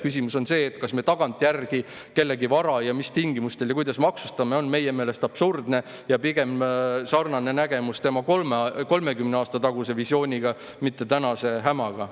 Küsimus, see, kas me tagantjärgi kellegi vara ja mis tingimustel ja kuidas maksustame, on meie meelest absurdne ja pigem sarnaneb see nägemus tema 30 aasta taguse visiooniga, mitte tänase hämaga.